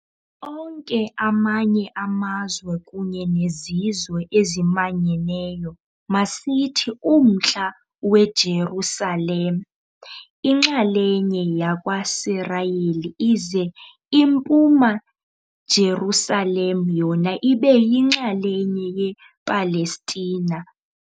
Onke amanye amazwe kunye nezizwe ezimanyeneyo, masithi Umntla-weJerusalem inxalenye yakwaSirayeli ize impuma Jerusalem yona ibe yinxalenye ye Palestina.